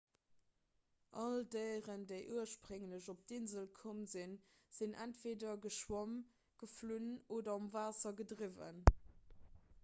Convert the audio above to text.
all déieren déi ursprénglech op d'insel komm sinn sinn entweeder geschwomm geflunn oder um waasser gedriwwen